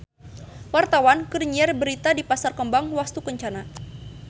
Wartawan keur nyiar berita di Pasar Kembang Wastukencana